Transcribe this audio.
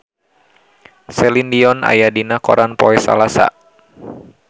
Celine Dion aya dina koran poe Salasa